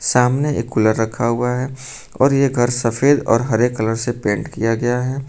सामने एक कूलर रखा हुआ है और ये घर सफेद और हरे कलर से पेंट किया गया है।